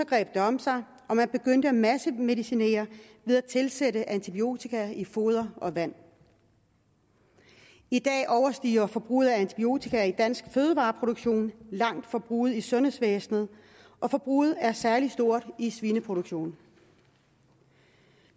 greb det om sig og man begyndte at massemedicinere ved at tilsætte antibiotika i foder og vand i dag overstiger forbruget af antibiotika i dansk fødevareproduktion langt forbruget i sundhedsvæsenet og forbruget er særlig stort i svineproduktionen